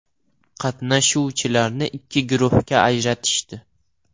Qatnashuvchilarni ikki guruhga ajratishdi.